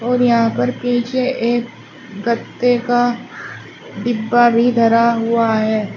और यहां पर पीछे एक गत्ते का डिब्बा भी धरा हुआ है।